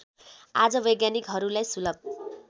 आज वैज्ञानिकहरूलाई सुलभ